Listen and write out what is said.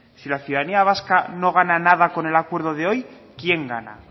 si la ciudadanía vasca no gana nada con el acuerdo de hoy quién gana